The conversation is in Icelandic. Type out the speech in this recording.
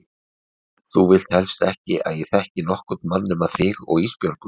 Þú vilt helst ekki að ég þekki nokkurn mann nema þig og Ísbjörgu.